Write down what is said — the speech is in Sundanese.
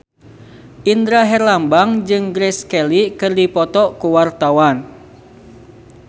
Indra Herlambang jeung Grace Kelly keur dipoto ku wartawan